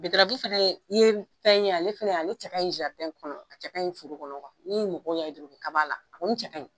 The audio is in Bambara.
fɛnɛ ye fɛn ye ale fɛnɛ ale cɛ ka ɲi kɔnɔ a cɛ ka ɲi foro kɔnɔ ni mɔgɔw y'a ye dɔrɔn u be kaba a la , a kɔni cɛ ka ɲi.